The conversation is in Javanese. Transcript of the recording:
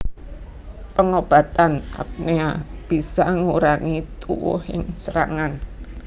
Pangobatan apnea bisa ngurangi tuwuhing serangan